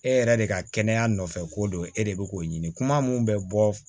E yɛrɛ de ka kɛnɛya nɔfɛ ko don e de bɛ k'o ɲini kuma min bɛ bɔ